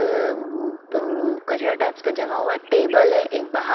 अ अ कचरा टाइप्स का जमा हुआ टेबल है एक--